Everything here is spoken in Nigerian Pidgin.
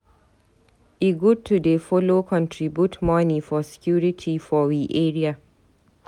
E good to dey follow contribute moni for security for we area.